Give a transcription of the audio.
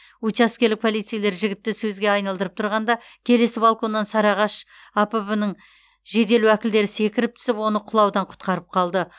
учаскелік полицейлер жігітті сөзге айналдырып тұрғанда келесі балконнан сарыағаш апб ның жедел уәкілдері секіріп түсіп оны құлаудан құтқарып қалды